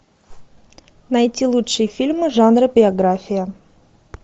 найти лучшие фильмы жанра биография